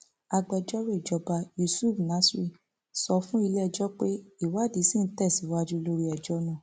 agbẹjọrò ìjọba yusuf nasir sọ fún iléẹjọ pé ìwádìí ṣì ń tẹsíwájú lórí ẹjọ náà